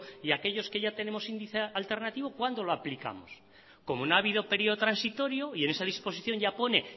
y aquellos que ya tenemos índice alternativo cuándo lo aplicamos como no ha habido periodo transitorio y en esa disposición ya pone